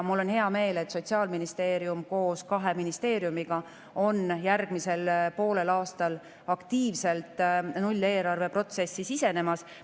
Mul on hea meel, et Sotsiaalministeerium koos kahe ministeeriumiga on järgmisel poolel aastal aktiivselt nulleelarve protsessi sisenemas.